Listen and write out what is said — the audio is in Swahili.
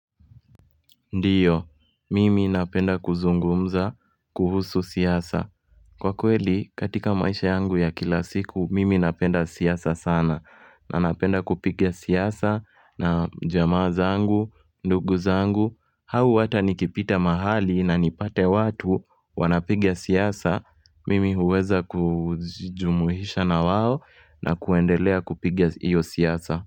Ndio, mimi napenda kuzungumza, kuhusu siasa. Kwa kweli, katika maisha yangu ya kila siku, mimi napenda siasa sana. Nanapenda kupiga siasa na jamaa zangu, ndugu zangu. Au hata nikipita mahali na nipate watu wanapiga siasa. Mimi huweza kujumuhisha na wao na kuendelea kupiga iyo siasa.